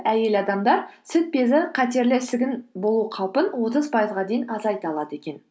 әйел адамдар сүт безі қатерлі ісігін болу қаупін отыз пайызға дейін азайта алады екен